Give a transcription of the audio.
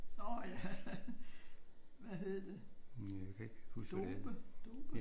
Nå ja. Hvad hed det? Dobe? Dobe?